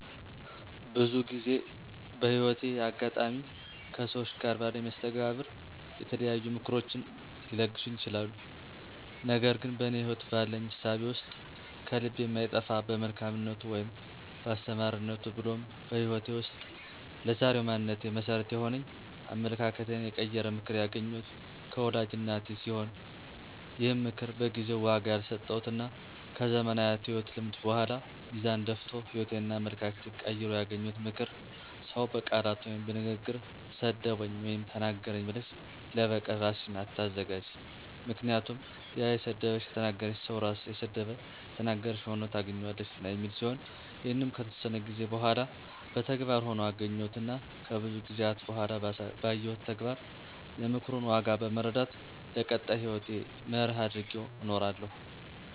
ብዙ ጊዜ በህይወቴ አጋጣሚ ከሠዎች ጋር ባለኝ መስተጋብር የተለያዩ ምክሮችን ሊለግሱኝ ይችላሉ። ነገር ግን በእኔ ህይወት ባለኝ እሳቤ ውስጥ ከልቤ የማይጠፋ በመልካምነቱ ወይም በአስተማሪነቱ ብሎም በህይወቴ ውስጥ ለዛሬው ማንነቴ መሠረት የሆነኝ አመለካከቴን የቀየረ ምክር ያገኘሁት ከወላጅ እናቴ ሲሆን ይህም ምክር በጊዜው ዋጋ ያልሰጠሁትና ከዘመናት የህይወት ልምድ በኃላ ሚዛን ደፍቶ ህይወቴንና አመለካከቴን ቀይሮ ያገኘሁት ምክር "ሰው በቃላት ወይም በንግግር ሰደበኝ ወይም ተናገረኝ ብለሽ ለበቀል እራስሽን አታዘጋጅ ምክንያቱም ያ የሰደበሽ / የተናገረሽ ሰው ራሱ የሰደበሽን / የተናገረሽን ሆኖ ታገኝዋለሽና" የሚል ሲሆን ይህንንም ከተወሰነ ጊዜ በኃላ በተግባር ሆኖ አገኘሁትና ከብዙ ጊዜአት በኃላ ባየሁት ተግባር የምክሩን ዋጋ በመረዳት ለቀጣይ ህይወቴ መርህ አድርጌው እኖራለሁ።